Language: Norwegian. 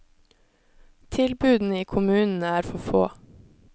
Tilbudene i kommunene er for få.